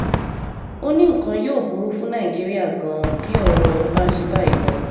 ó ní nǹkan yóò burú fún nàìjíríà gan-an bí ọ̀rọ̀ bá ń ṣe báyìí lọ